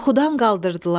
Yuxudan qaldırdılar.